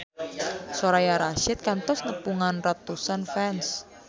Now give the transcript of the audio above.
Soraya Rasyid kantos nepungan ratusan fans